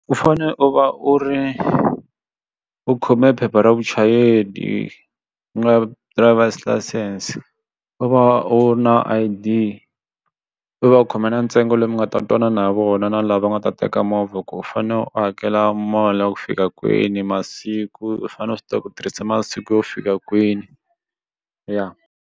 U fane u va u ri u u khome phepha ra vuchayeri u nga driver's license u va u ri na I_D u va u khome na ntsengo lowu mi nga ta twana na vona u na lava nga ta teka movha ku u fanele u hakela mali ya ku fika kwini masiku u fanele u swi tiva ku tirhisa masiku yo fika kwini ya.